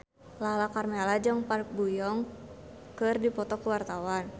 Lala Karmela jeung Park Bo Yung keur dipoto ku wartawan